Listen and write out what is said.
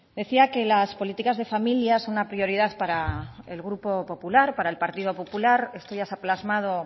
decía que las políticas de familias son una prioridad para el grupo popular para el partido popular esto ya se ha plasmado